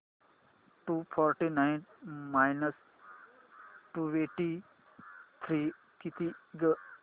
to forty nine minus twenty three किती गं